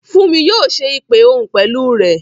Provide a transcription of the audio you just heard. Fúnmi yóò ṣe ìpè òhun pẹ̀lú rẹ